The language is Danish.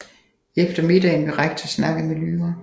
Efter middagen vil Rektor snakke med Lyra